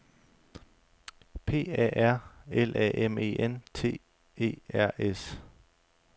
P A R L A M E N T E R S